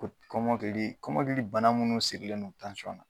Ko kɔmɔkili kɔmɔkili bana munnu sirilen don tansyɔn na.